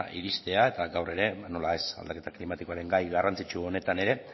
iristea eta gaur ere nola ez aldaketa klimatikoaren gai garrantzitsu honetan ere